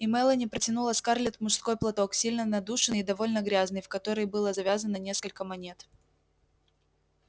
и мелани протянула скарлетт мужской платок сильно надушенный и довольно грязный в который было завязано несколько монет